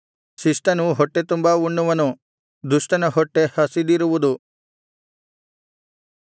ಶಿಷ್ಟನು ಹೊಟ್ಟೆತುಂಬಾ ಉಣ್ಣುವನು ದುಷ್ಟನ ಹೊಟ್ಟೆ ಹಸಿದಿರುವುದು